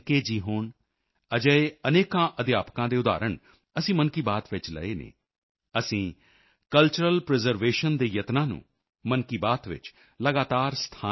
ਜੀ ਹੋਣ ਅਜਿਹੇ ਅਨੇਕਾਂ ਅਧਿਆਪਕਾਂ ਦੇ ਉਦਾਹਰਣ ਅਸੀਂ ਮਨ ਕੀ ਬਾਤ ਵਿੱਚ ਲਏ ਹਨ ਅਸੀਂ ਕਲਚਰਲ ਪ੍ਰੀਜ਼ਰਵੇਸ਼ਨ ਕਲਚਰਲ ਪ੍ਰੀਜ਼ਰਵੇਸ਼ਨ ਦੇ ਯਤਨਾਂ ਨੂੰ ਵੀ ਮਨ ਕੀ ਬਾਤ ਵਿੱਚ ਲਗਾਤਾਰ ਸਥਾਨ ਦਿੱਤਾ ਹੈ